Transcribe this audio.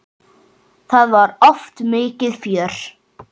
Það var oft mikið fjör.